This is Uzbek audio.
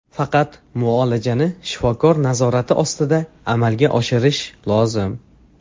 Faqat muolajani shifokor nazorati ostida amalga oshirish lozim.